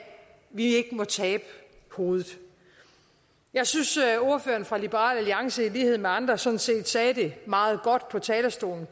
vi ikke må tabe hovedet jeg synes at ordføreren for liberal alliance i lighed med andre sådan set sagde det meget godt på talerstolen